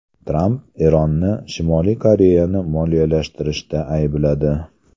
Tramp Eronni Shimoliy Koreyani moliyalashtirishda aybladi.